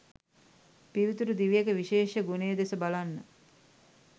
පිවිතුරු දිවියක විශේෂ ගුණය දෙස බලන්න.